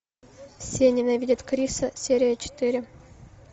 все ненавидят криса серия четыре